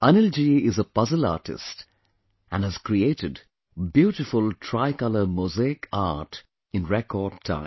Anil ji is a puzzle artist and has created beautiful tricolor mosaic art in record time